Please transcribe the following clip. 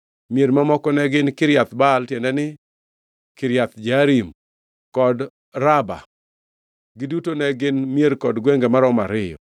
Mier mamoko ne gin: Kiriath Baal (tiende ni, Kiriath Jearim), kod Raba. Giduto ne gin mier kod gwenge maromo ariyo.